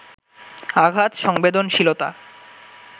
আঘাত সংবেদনশীলতা